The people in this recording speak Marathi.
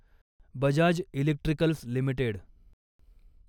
Bajaj electricals limited